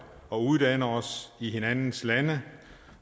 og uddanne os i hinandens lande